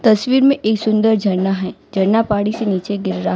तस्वीर मे एक सुंदर झरना है झरना पहाड़ी से नीचे गिर रहा--